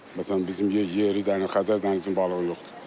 Məsələn, bizim yeri Xəzər dənizinin balığı yoxdur.